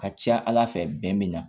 Ka ca ala fɛ bɛn bi na